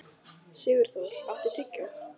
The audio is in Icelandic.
Sigurþór, áttu tyggjó?